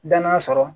Dannan sɔrɔ